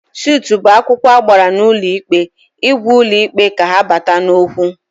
Sutụ bụ akwụkwọ agbara n'ụlọ ikpe ịgwa ụlọ ikpe ka ha bata n'okwu